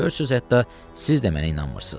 Görürsüz hətta siz də mənə inanmırsız.